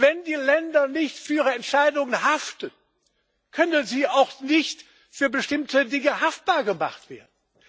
Wenn die Länder nicht für ihre Entscheidungen haften, können sie auch nicht für bestimmte Dinge haftbar gemacht werden!